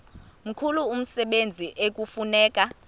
mkhulu umsebenzi ekufuneka